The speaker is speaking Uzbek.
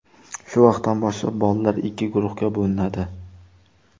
Shu vaqtdan boshlab bolalar ikki guruhga bo‘linadi.